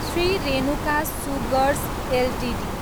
Shri Renuka sugars Ltd